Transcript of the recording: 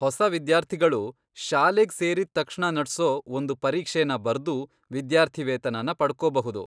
ಹೊಸ ವಿದ್ಯಾರ್ಥಿಗಳು ಶಾಲೆಗ್ ಸೇರಿದ್ ತಕ್ಷಣ ನಡ್ಸೋ ಒಂದು ಪರೀಕ್ಷೆನ ಬರ್ದು ವಿದ್ಯಾರ್ಥಿವೇತನನ ಪಡ್ಕೋಬಹುದು.